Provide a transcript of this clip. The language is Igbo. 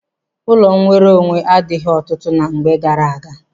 Ọnụ nwere onwe adịghị ọtụtụ ná mgbe gaara aga.